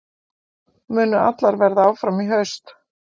Munu allar verða áfram í haust?